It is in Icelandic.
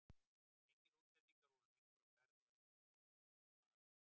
Engir útlendingar voru lengur á ferð og enginn kom að heimsækja baróninn.